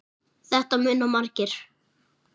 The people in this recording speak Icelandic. Þetta muna margir.